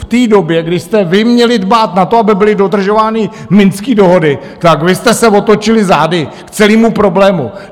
V té době, kdy jste vy měli dbát na to, aby byly dodržovány minské dohody, tak vy jste se otočili zády k celému problému!